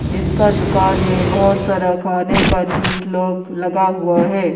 इसका दुकान में बहोत सारा खाने का चीज़ लोग लगा हुआ है।